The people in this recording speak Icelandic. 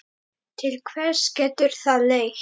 Til hvers getur það leitt?